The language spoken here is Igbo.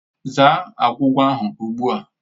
Zaa agwugwa ahụ ugbu a!